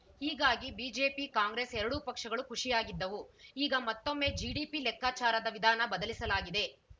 ಹೀಗಾಗಿ ಬಿಜೆಪಿ ಕಾಂಗ್ರೆಸ್‌ ಎರಡೂ ಪಕ್ಷಗಳು ಖುಷಿಯಾಗಿದ್ದವು ಈಗ ಮತ್ತೊಮ್ಮೆ ಜಿಡಿಪಿ ಲೆಕ್ಕಾಚಾರದ ವಿಧಾನ ಬದಲಿಸಲಾಗಿದೆ